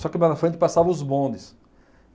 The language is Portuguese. Só que mais na frente passavam os bondes.